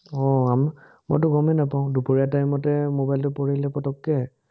আহ মইতো গমেই নাপাঁও, দুপৰীয়া টাইমতে মোবাইলটো পৰি গলে পটক্কে